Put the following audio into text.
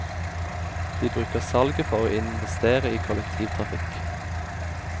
De bruker salget for å investere i kollektivtrafikk.